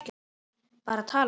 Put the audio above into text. Bara að tala.